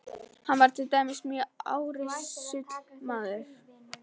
Hann var til dæmis mjög árrisull maður.